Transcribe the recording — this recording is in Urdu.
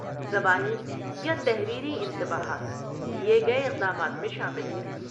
زبانی یا تحریری انتباہات لیے گئے اقدامات میں شامل ہیں۔